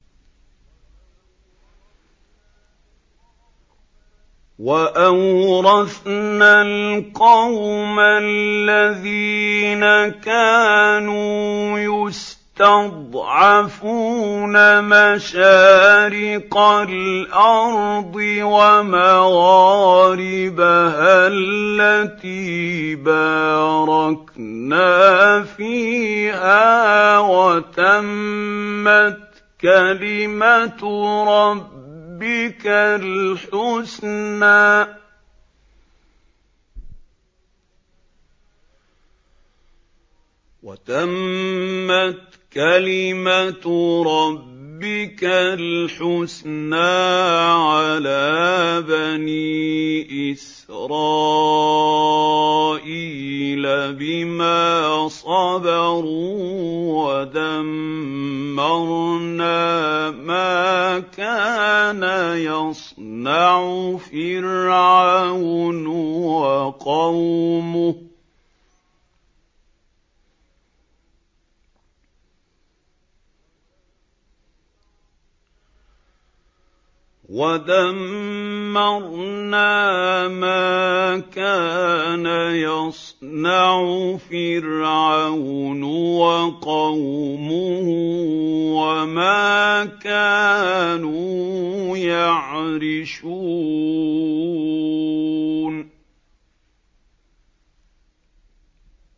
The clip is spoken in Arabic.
وَأَوْرَثْنَا الْقَوْمَ الَّذِينَ كَانُوا يُسْتَضْعَفُونَ مَشَارِقَ الْأَرْضِ وَمَغَارِبَهَا الَّتِي بَارَكْنَا فِيهَا ۖ وَتَمَّتْ كَلِمَتُ رَبِّكَ الْحُسْنَىٰ عَلَىٰ بَنِي إِسْرَائِيلَ بِمَا صَبَرُوا ۖ وَدَمَّرْنَا مَا كَانَ يَصْنَعُ فِرْعَوْنُ وَقَوْمُهُ وَمَا كَانُوا يَعْرِشُونَ